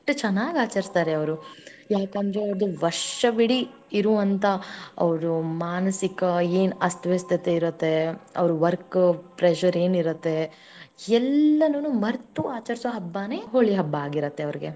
ಅಷ್ಟ ಚನ್ನಾಗ್ ಆಚರಿಸ್ತಾರೆ ಅವರು ಯಾಕಂದ್ರೆ ಅವ್ರು ವರ್ಷವಿಡೀ ಇರುವಂತ ಅವರು ಮಾನಸಿಕ ಏನ ಅಸ್ವಸ್ಥತೆ ಇರತ್ತೆ ಅವ್ರ work pressure ಏನ ಇರತ್ತೆ ಎಲ್ಲಾನುನು ಮರೆತು ಆಚರಿಸುವ ಹಬ್ಬಾನೇ ಹೋಳಿ ಹಬ್ಬಾ ಆಗಿರತ್ತೆ ಅವ್ರಿಗೆ.